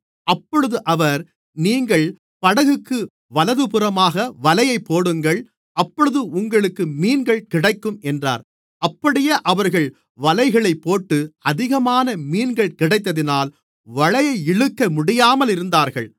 அப்பொழுது அவர் நீங்கள் படகுக்கு வலதுபுறமாக வலையைப் போடுங்கள் அப்பொழுது உங்களுக்கு மீன்கள் கிடைக்கும் என்றார் அப்படியே அவர்கள் வலைகளைப் போட்டு அதிகமான மீன்கள் கிடைத்ததினால் வலையை இழுக்க முடியாமல் இருந்தார்கள்